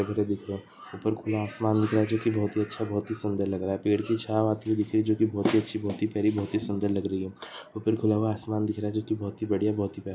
उपर खुला आसमान दिख रहा है। जो की बहुतही अच्छा बहुतही सुंदर लग रहा है। पेड़ की छाव आती दिख रही है। जो की बहुतही अच्छी बहुतही प्यारी बहुतही सुंदर लग रही है। ऊपर खुला हुआ आसमान दिख रहा है। जो की बहुतही बढ़िया बहुतही प्यारा --